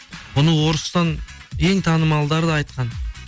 бұны орыстың ең танымалдары да айтқан